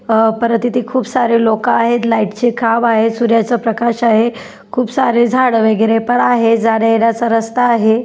अह परत इथे खूप सारे लोक आहेत लाइट चे खांब आहे सूर्याचा प्रकाश आहे खूप सारे झाड वेगेरे पण आहे जाण्यायेण्याचा रस्ता आहे.